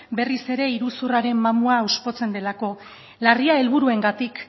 berriz ere iruzurraren mamua delako larria helburuengatik